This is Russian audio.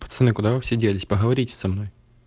пацаны куда вы все делись поговорите со мной